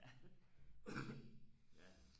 ja